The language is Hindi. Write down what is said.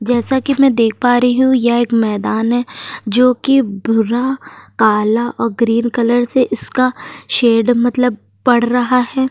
जैसा कि मैं देख पा रही हूँ यह एक मैंदान है जो कि भूरा काला और ग्रीन कलर से इसका शेड मतलब पड़ रहा है।